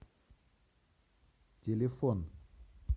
телефон